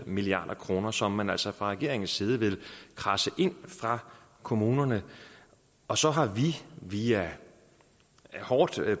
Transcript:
milliard kr som man altså fra regeringens side vil kradse ind fra kommunerne og så har vi via hårdt